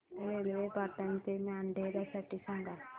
railway Patan ते मोढेरा साठी सांगा